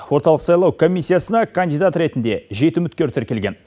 орталық сайлау комиссиясына кандидат ретінде жеті үміткер тіркелген